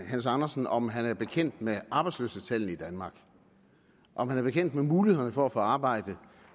hans andersen om han er bekendt med arbejdsløshedstallene i danmark og om han er bekendt med mulighederne for at få arbejde